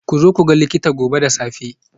Ku zo ku ga likita gobe da safe.